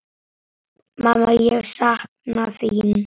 Mamma ég sakna þín.